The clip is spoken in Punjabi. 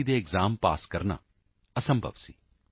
ਈ ਦੇ ਐਕਸਾਮ ਪੱਸ ਕਰਨਾ ਨਾਮੁਮਕਿਨ ਸੀ